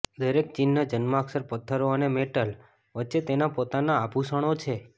દરેક ચિહ્ન જન્માક્ષર પત્થરો અને મેટલ વચ્ચે તેના પોતાના આભૂષણો છે